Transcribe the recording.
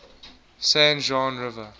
san juan river